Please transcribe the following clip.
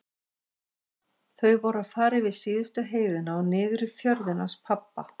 Þau voru að fara yfir síðustu heiðina og niður í fjörðinn hans pabba.